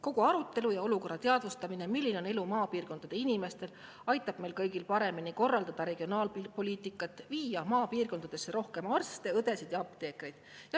Kogu arutelu ja selle olukorra teadvustamine, milline on elu maapiirkondade inimestel, aitab meil kõigil paremini korraldada regionaalpoliitikat, viia maapiirkondadesse rohkem arste, õdesid ja apteekreid.